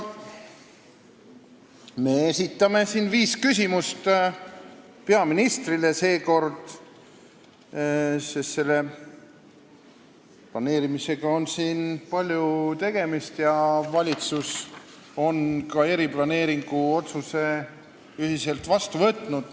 Me esitame viis küsimust, peaministrile seekord, sest selle planeerimisega on palju tegemist ja valitsus on eriplaneeringu otsuse ühiselt vastu võtnud.